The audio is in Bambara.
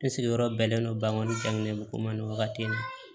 Ne sigiyɔrɔ bɛnnen don bangekɔli ko ma ni wagati in na